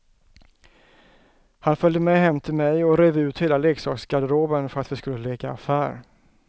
Han följde med hem till mig och rev ut hela leksaksgarderoben för att vi skulle leka affär.